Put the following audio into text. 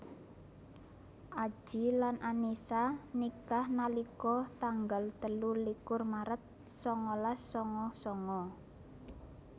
Adji lan Annisa nikah nalika tanggal telu likur maret sangalas sanga sanga